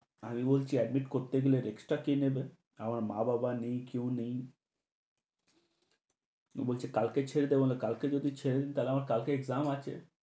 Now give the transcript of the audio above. আমি বলছি admit করতে গেলে extra কি নেবে? আমার মা-বাবা নেই, কেউ নেই। ও বলছে কালকে ছেড়ে দেবোনে, কালকে যদি ছেড়ে দিই তাহলে আমার exam এক্সাম আছে।